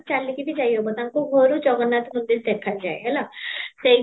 ଚାଲିକି ବି ଜିଓ ହବ, ତାଙ୍କ ଘରୁ ଜଗନ୍ନାଥ ମନ୍ଦୀର ଦେଖା ଯାଏ ହେଲା, ସେଇ